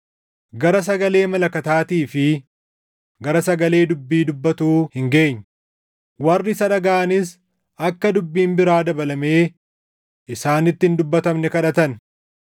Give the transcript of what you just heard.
gara sagalee malakataatii fi gara sagalee dubbii dubbatuu hin geenye; warri isa dhagaʼanis akka dubbiin biraa dabalamee isaanitti hin dubbatamne kadhatan.